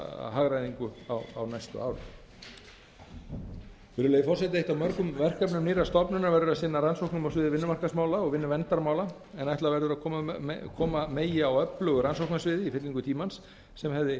hagræðingu á næstu árum virðulegi forseti eitt af mörgum verkefnum nýrrar stofnunar verður að sinna rannsóknum á sviði vinnumarkaðsmála og vinnuverndarmála en ætla verður að koma megi á öflugu rannsóknarsviði í fyllingu tímans sem hefði